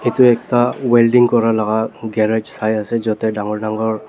itu ekta wielding kura lagah garage sai ase dangor dangor--